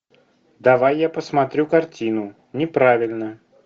давай я посмотрю картину неправильно